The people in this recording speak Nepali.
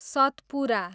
सतपुरा